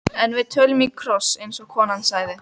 En við tölum í kross, eins og konan sagði.